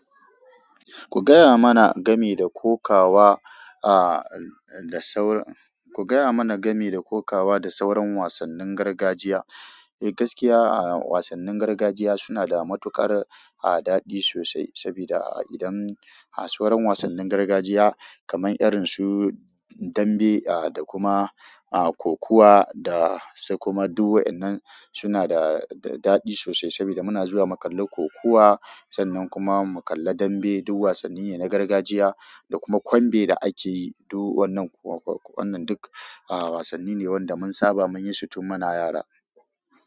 Ku gaya mana game da kokawa, da saur-- ku gaya mana game da kokawa da sauran wasannin gargajiya. Eh, gaskiya wasannin gargajiya suna da matuƙar, daɗi sosai. Saboda idan, har sauren wasannin gargajiya kamar irin su dambe, da kuma, kokuwa da sai kuma duk, wa'yannan suna da da daɗi sosai. Saboda muna zuwa mu kalla kokuwa sannan kuma mu kalla dambe. Duk wasanni ne na gargajiya da kuma kwanbe da ake yi, duk wannan, wannan duk, wasanni ne wanda mun saba mun yi su tun muna yara.